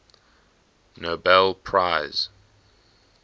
nobel prize